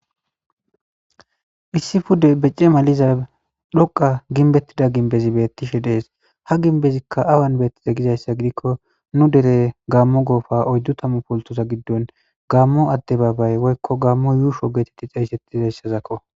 Issi pude becce maliza dhoqa ginbettida ginbezi beettishe dees ha ginbezikka awan beettize gizayssa gidikko nu dere gaammo goofa oyddu tammu poltoza giddon gaammo adde baabay woykko gammo yuusho geetetti cayssettizayssazakko